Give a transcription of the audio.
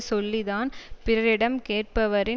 சொல்லி தான் பிறரிடம் கேட்பவற்றின்